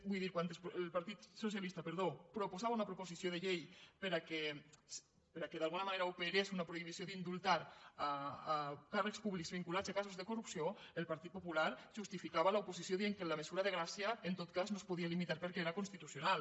vull dir quan el partit socialista perdó proposava una proposició de llei perquè d’alguna manera operés una prohibició d’indultar càrrecs públics vinculats a casos de corrupció el partit popular justificava l’oposició dient que la mesura de gràcia en tot cas no es podia limitar perquè era constitucional